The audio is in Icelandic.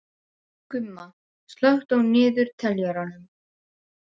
Gumma, slökktu á niðurteljaranum.